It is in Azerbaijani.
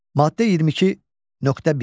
Maddə 22.1.